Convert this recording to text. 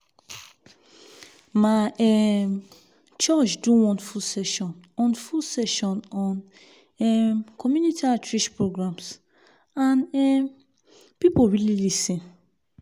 my um church do one full session on full session on um community outreach programs and um people really lis ten.